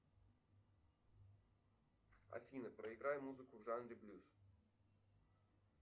афина проиграй музыку в жанре блюз